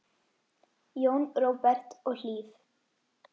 Jón Róbert og Hlíf.